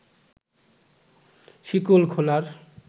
শিকল খোলার